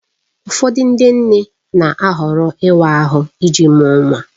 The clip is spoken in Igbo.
Ụfọdụ ndị nne na-ahọrọ ịwa ahụ iji mụọ nwa